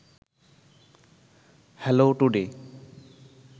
hello today